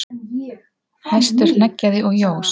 Hestur hneggjaði og jós.